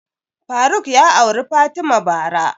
Faruk ya auri fatima bara